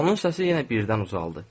Onun səsi yenə birdən ucaldı.